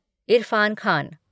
Irfan Khan